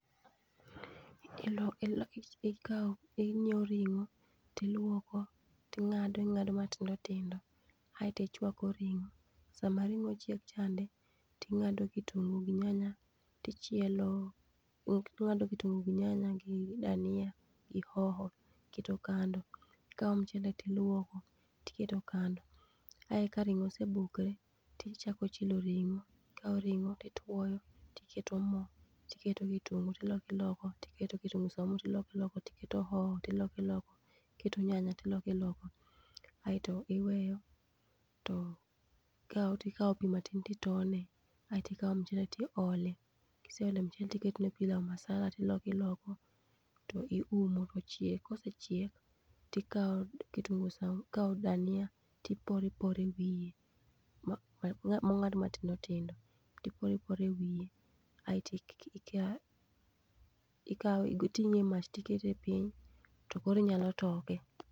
Ikawo inyiewo ring'o tiluoko, ting'ado ing'ado matindo tindo aetichwako ring'o. Sama ring'o chiek chande, ting'ado kitungu gi nyanya tichielo, ing'ado kitungu gi dania gi hoho iketo kando. Ikawo mchele tilwoko, iketo kando. Ae ka ring'o osebukre tichako chielo ring'o, ikawo ring'o tituoyo, tiketo mo, tiketo kitungu tiloko iloko. Tiketo kitungu saumu tiloki iloko, tiketo hoho tiloko iloko, tiketo hoho tiloko iloko. Aeto iweyo to ikawo tikawo pi matin titone, aetikawo mchele tiole. Kiseole mchele tiketone pilau masala tilokiloko, to iumo tochiek. Kosechiek, tikawo kitungu sau ikawo dania tiporo iporo e wiye, mong'ad matindo tindo tiporo e wiye. Aeti ikawe iting'e e mach tikete piny, tokoro inyalo toke.